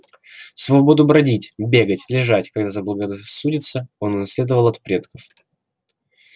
свободу бродить бегать лежать когда заблагорассудится он унаследовал от предков